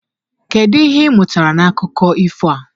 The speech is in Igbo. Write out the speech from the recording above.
kedu ihe ị mụtara n'akụkọ ifo a?